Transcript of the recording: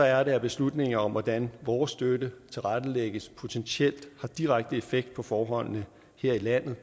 er det at beslutninger om hvordan vores støtte tilrettelægges potentielt har direkte effekt på forholdene her i landet